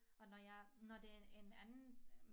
Og når jeg når det en en andens